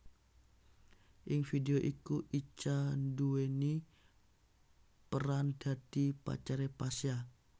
Ing vidéo iku Icha nduwèni peran dadi pacaré Pasha